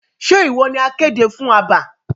Ṣe iwọ ni akéde fún àbá?